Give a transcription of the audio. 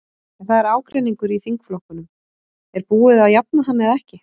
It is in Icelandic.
En það er ágreiningur í þingflokknum, er búið að jafna hann eða ekki?